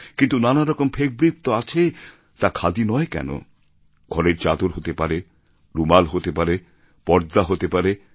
কিন্তু নানারকম ফ্যাব্রিক তো আছে তা খাদি নয় কেন ঘরের চাদর হতে পারে রুমাল হতে পারে পর্দা হতে পারে